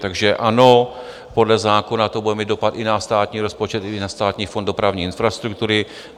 Takže ano, podle zákona to bude mít dopad i na státní rozpočet i na Státní fond dopravní infrastruktury.